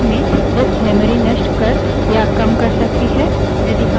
यदि हम कई commands की श्रृंखला बनाना भी चाहते हैं यह पद्धति धीमी है